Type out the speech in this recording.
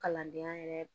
Kalandenya yɛrɛ